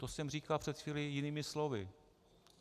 - To jsem říkal před chvílí jinými slovy.